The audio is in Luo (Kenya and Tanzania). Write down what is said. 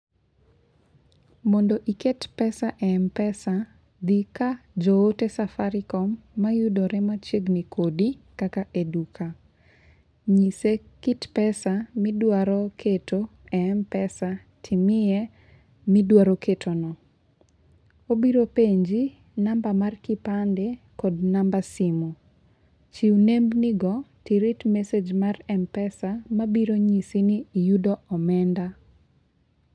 Mondo iket pesa e Mpesa, dhi ka jo ote safaricom, mayudore machiegni kodi kaka e duka. Nyise kit pesa midwaro keto e Mpesa timiye midwaro keto no. Obiro penji namba mar kipande kod namba simu. Chiw nembni go tirit message mar Mpesa mabiro nyisi ni iyudo omenda.